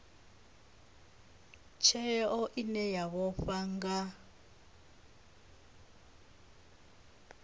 tsheo ine ya vhofha nga